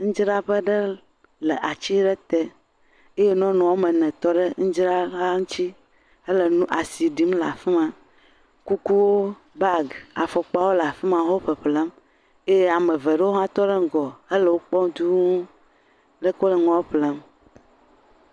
Ŋudzraƒe ɖe le atsi ɖe te eye nɔnu ame ne tɔ ɖe ŋudzraxa ŋtsi hele nu, asi ɖim le afi ma. Kukuwo, baagi, afɔkpawo le afi ma wo ƒeƒlem eye ame ve ɖewo hã tɔ ɖe ŋgɔ hele wo kpɔm dũu le ke wole nua ƒlem.